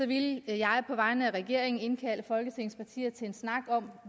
ville jeg på vegne af regeringen indkalde folketingets partier til en snak om